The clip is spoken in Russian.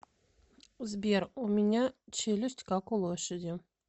сбер у меня челюсть как у лошади